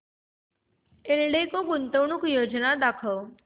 एल्डेको गुंतवणूक योजना दाखव